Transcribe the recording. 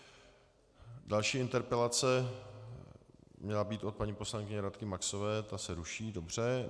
Další interpelace měla být od paní poslankyně Radky Maxové, ta se ruší, dobře.